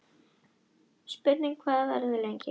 Spurning hvað það verður lengi